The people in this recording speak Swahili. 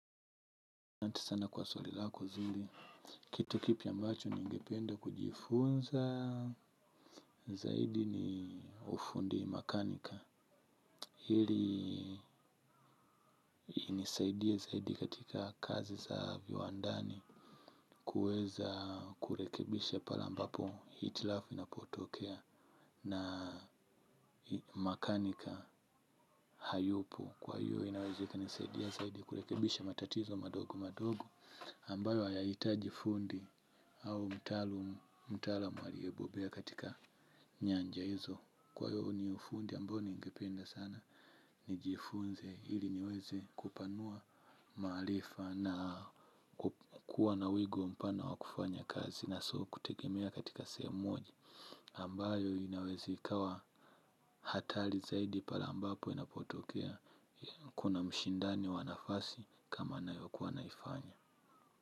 Asante sana kwa swali lako zuri kitu kipya ambacho ningependa kujifunza zaidi ni ufundi makaniki ili inisaidie zaidi katika kazi za viwandani kuweza kurekebisha pale ambapo hitlaf inapotokea na makanika hayupo. Kwa hiyo inaweza ika nisadia zaidi kurekebisha matatizo madogo madogo ambayo haya hitajifundi au mtaalam aliye bobea katika nyanja hizo. Kwa hiyo unifundi ambao ningipenda sana nijifunze ili niweze kupanua maarifa na kuwa na wigo mpana wa kufanya kazi na sio kutegemea katika sehemu moja ambayo inaweza ikawahatari zaidi pale inapo tokea. Kuna mshindani wa nafasi kama nayo kuwa naifanya.